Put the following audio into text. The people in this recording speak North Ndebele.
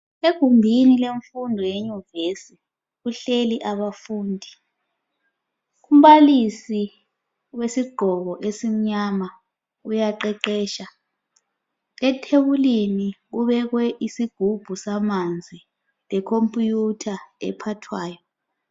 Egumbini lemfundo yeyunivesi kuhleli abafundi umbalisi wesigqoko esimnyama uyaqeqetsha ethebulini kubekwe isigubhu samanzi lekomputha ephathwayo.